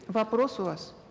вопрос у вас